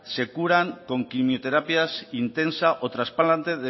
se curan con quimioterapia intensa o trasplantes